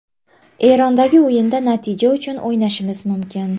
Erondagi o‘yinda natija uchun o‘ynashimiz mumkin.